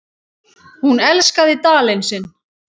Hún elskaði Dalinn sinn.